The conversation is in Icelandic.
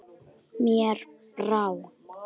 Mér brá.